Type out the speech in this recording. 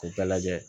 K'u bɛɛ lajɛ